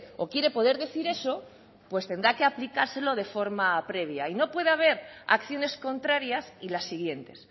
o quiere poder decir eso pues tendrá que aplicárselo de forma previa y no puede haber acciones contrarias y las siguientes